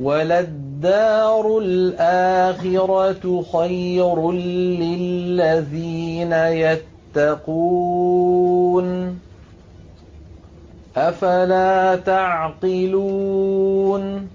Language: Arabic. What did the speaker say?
وَلَلدَّارُ الْآخِرَةُ خَيْرٌ لِّلَّذِينَ يَتَّقُونَ ۗ أَفَلَا تَعْقِلُونَ